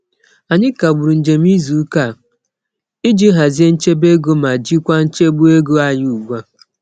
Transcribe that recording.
Anyị kagburu njem izuụka a iji hazie nchebeego ma jikwa nchegbu ego anyị ugbua.